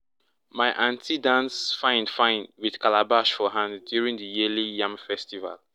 my aunty dance fine-fine with calabash for hand during the yearly yam festival.